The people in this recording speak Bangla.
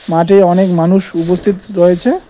মাঠে অনেক মানুষ উপস্থিত রয়েছে।